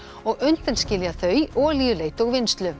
og undanskilja þau olíuleit og vinnslu